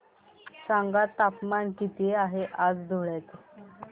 सांगा तापमान किती आहे आज धुळ्याचे